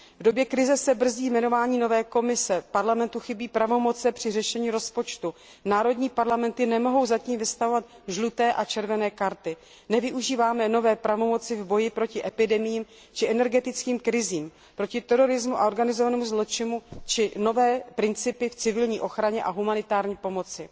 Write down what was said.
V době krize se brzdí jmenování nové Komise, Parlamentu chybí pravomoci při řešení rozpočtu, národní parlamenty nemohou zatím vystavovat žluté a červené karty, nevyužíváme nové pravomoci v boji proti epidemiím či energetickým krizím, proti terorismu a organizovanému zločinu či nové principy v civilní ochraně a humanitární pomoci.